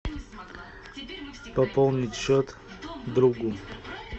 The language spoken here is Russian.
пополнить счет другу